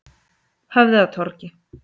Höfðatorgi